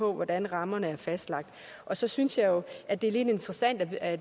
hvordan rammerne er fastlagt og så synes jeg jo at det er lidt interessant at